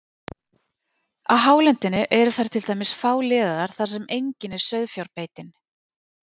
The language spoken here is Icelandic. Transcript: Á hálendinu eru þær til dæmis fáliðaðar þar sem engin er sauðfjárbeitin.